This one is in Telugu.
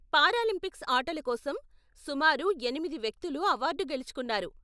పారాలింపిక్స్ ఆటల కోసం సుమారు ఎనిమిది వ్యక్తులు అవార్డు గెలుచుకున్నారు.